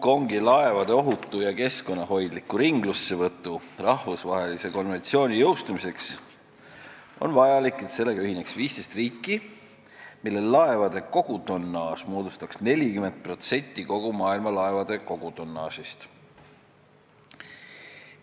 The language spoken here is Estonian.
Hongkongi laevade ohutu ja keskkonnahoidliku ringlussevõtu rahvusvahelise konventsiooni jõustumiseks on vajalik, et sellega ühineks 15 riiki, mille laevade kogutonnaaž moodustaks 40% kogu maailma laevade kogutonnaažist.